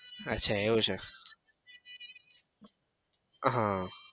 અચ્છા એવું છે હમ